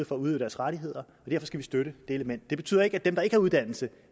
for at udøve deres rettigheder så skal vi støtte det element det betyder ikke at dem der ikke har uddannelse